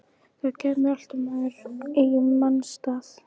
Það kæmi alltaf maður í manns stað.